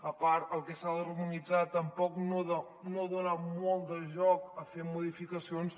a part el que s’ha d’harmonitzar tampoc no dona molt de joc a fer modificacions